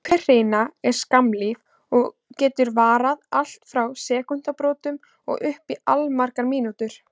Hver hrina er skammlíf og getur varað allt frá sekúndubrotum og upp í allmargar mínútur.